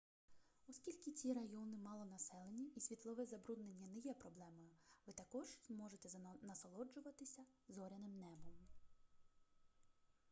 оскільки ці райони малонаселені і світлове забруднення не є проблемою ви також зможете насолоджуватися зоряним небом